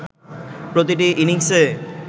প্রতিটি ইনিংসে